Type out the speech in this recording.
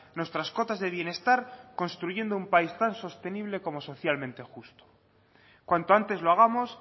nuestras cotas de bienestar construyendo un país tan sostenible como socialmente justo cuanto antes lo hagamos